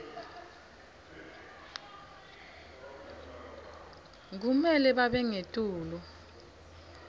kumele babe ngetulu